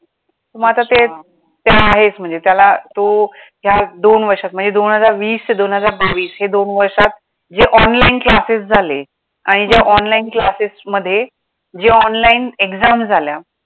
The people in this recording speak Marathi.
मग आता ते ते आहेच म्हणजे त्याला तो या दोन वर्षात म्हणजे दोनहजार वीस ते दोनहजार बावीस या दोन वर्षात जे online classes झाले आणि ज्या online classes मध्ये जे online exam झाल्या.